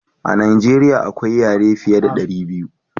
a najeriya akwai yare fiya da dari biyu